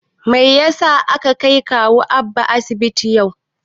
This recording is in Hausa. Mai yasa aka kai kawu Abba asibiti yau?